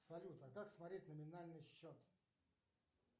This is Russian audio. салют а как смотреть номинальный счет